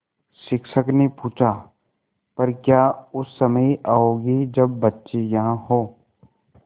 शिक्षक ने पूछा पर क्या उस समय आओगे जब बच्चे यहाँ हों